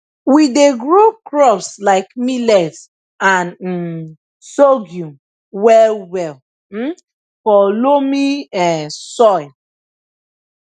we dey grow crops like millet and um sorghum well well um for loamy um soil